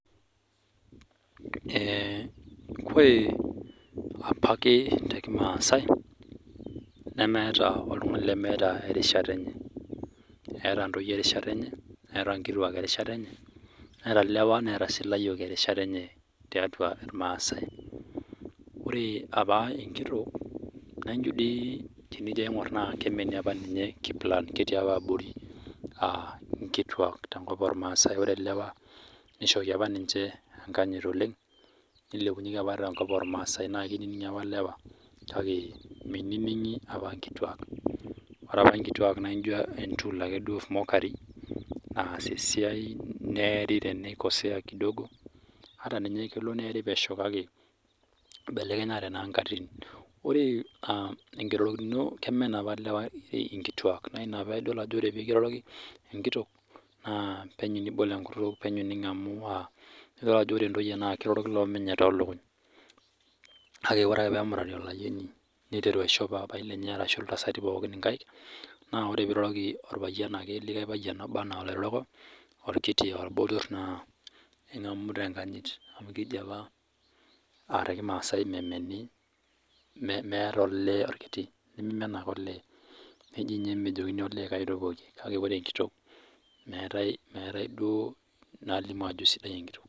Ore apake tee kimasai nemeeta oltung'ani lemeeta erishata enye keeta ntoyie erishata enye Neeta ntoyie erishata enye netaa nkituak Neeta lewa Neeta sii layiok erishata enye tiatua irmasai ore apa Enkitok tenijo aing'or kemeni apa ninye kiplan ketii apa abori aa nkituak tenkop ormaasa ore elewa nishoki apa ninche enkanyit oleng tenkop ormasai naa kiningi apa elewa kake miningi apa nkituak ore apa nkituak naijio apa entool ake of mokoafi naas esiai neere tenikosea kidogo ata ninye kelo niari pesho kake eibelekenye naa nkatitin ore enkirorokino kemen apa elewa nkituak naa ena piidol oree pee kiroroki enkitok naa penyo nibol enkutuk penyo ningamu edol ore ntoyie naa kirororki loo menye too lukuny kake ore ake pee kemurati Olayioni niteru aishoo papai lenye ashu iltasati pookin nkaik naa ore ake peiroroki orpayian ake likae payian ake oloiroroko aa orbotor aa orkiti naa kengamu tenkanyit amu kejii apa tee kimasai meeta olee orkiti niminen ake olee nejia ninye mejokink olee kaji etopookie kake ore Enkitok meetae duo nalimu Ajo sidai enkitok